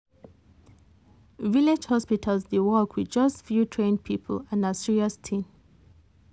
village hospitals dey work with just few trained people and na serious thing.